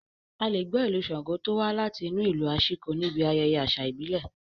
A lè gbọ́ Ìlù Ṣango tó wá láti inú ìlù aṣíko níbi ayẹyẹ àṣà ìbílẹ̀